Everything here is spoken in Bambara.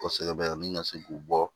Kosɛbɛ bɛ ka se k'u bɔ